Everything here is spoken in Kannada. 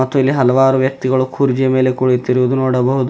ಮತ್ತು ಇಲ್ಲಿ ಹಲವಾರು ವ್ಯಕ್ತಿಗಳು ಕುರ್ಜಿ ಮೇಲೆ ಕುಳಿತಿರುದು ನೋಡಬಹುದು.